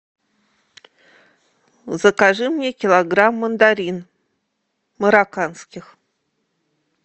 закажи мне килограмм мандарин марокканских